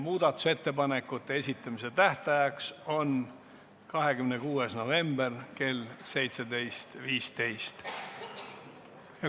Muudatusettepanekute esitamise tähtajaks on 26. november kell 17.15.